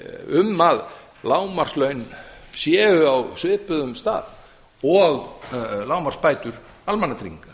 um að lágmarkslaun séu á svipuðum stað og lágmarksbætur almannatrygginga